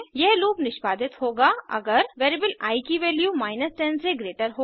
यह लूप निष्पादित होगा अगर वेरिएबल आई की वैल्यू 10 से ग्रेटर हो